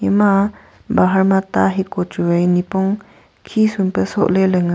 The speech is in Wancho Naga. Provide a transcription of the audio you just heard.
ema bahar ma ta hiko chuwai nipong khisumpe sohle le ngan--